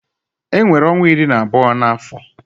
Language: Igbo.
E nwere ọnwa iri na abụọ na afọ